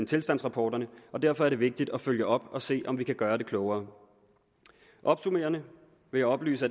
tilstandsrapporterne og derfor er det vigtigt at følge op og se om vi kan gøre det klogere opsummerende vil jeg oplyse